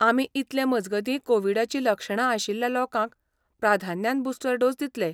आमी इतलें मजगती कोविडाची लक्षणां आशिल्ल्या लोकांक प्राधान्यान बुस्टर डोस दितले.